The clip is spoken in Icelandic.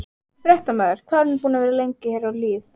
Fréttamaður: Hvað er hún búin að vera lengi hér á Hlíð?